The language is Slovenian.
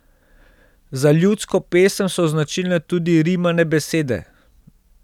Za ljudsko pesem so značilne tudi rimane besede.